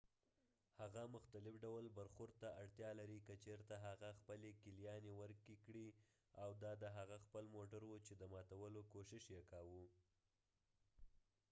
هغه مختلف ډول برخورد ته اړتیا لري که چیرته هغه خپلې کیلیانې ورکې کړي وي او دا د هغه خپل موټر وو چې د ماتولو کوشش یې کاوه